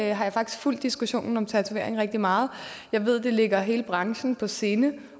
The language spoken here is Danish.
jeg har faktisk fulgt diskussionen om tatoveringer rigtig meget jeg ved at det ligger hele branchen på sinde